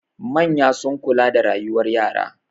Manya sun kula da rayuwar yara.